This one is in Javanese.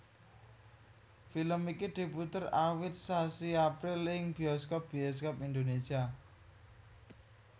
Film iki diputer awit sasi April ing bioskop bioskop Indonesia